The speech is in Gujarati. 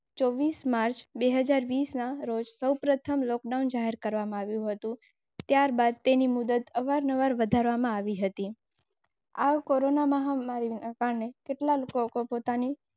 માર્ચ પ્રથમ લોકડાઉન જાહેર કરવામાં આવ્યું હતું. ત્યારબાદ અવારનવાર વધારવામાં આવી હતી. આગ કોરોના મહામારી